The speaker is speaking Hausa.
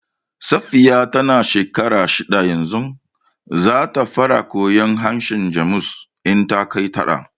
Safiya ta na shekara shidda yanzu, za ta fara koyar harshen Jamus in ta kai tara